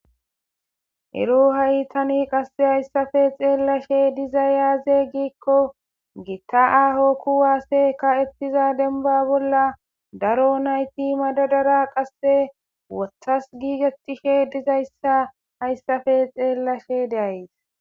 ero ha7itani qasse hayssafe xeellashe diza yaaze giikko giitta aaho kuwaase ka7ettiza denba bolla daro nayti madadara qasse wothas giigetishe dizayssa hayssafe xeellashe deays